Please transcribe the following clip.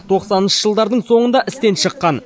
тоқсаныншы жылдардың соңында істен шыққан